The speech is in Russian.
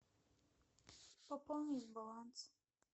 пополнить баланс